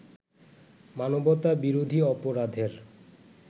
মানবতা বিরোধী অপরাধের